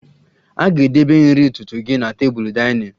A ga-edebe nri ụtụtụ gị na tebụl dinning